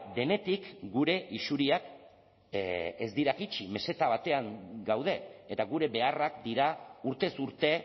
denetik gure isuriak ez dira jaitsi meseta batean gaude eta gure beharrak dira urtez urte